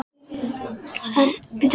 Elísabet Hall: Hvað gerðist?